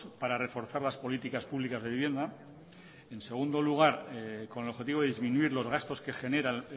para reforzar las políticas públicas de vivienda en segundo lugar con el objetivo de disminuir los gastos que generan